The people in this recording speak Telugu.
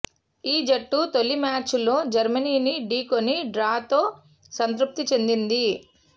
ఈ జట్టు తొలి మ్యాచ్లో జర్మనీని ఢీకొని డ్రాతో సంతృప్తి చెందింది